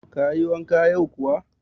Kayi wanka yau kuwa?